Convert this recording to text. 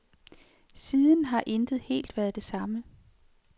Siden har intet helt været det samme.